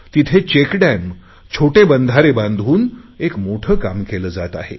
तिथे चेकहॅम छोटे बंधारे बांधून एक मोठे काम केले जात आहे